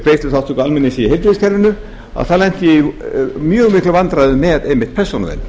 greiðsluþátttöku almenning sí heilbrigðiskerfinu þá lenti ég í mjög miklum vandræðum með einmitt persónuvernd